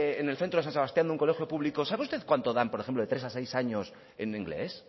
en el centro de san sebastián de un colegio público sabe usted cuánto dan por ejemplo de tres a seis años en inglés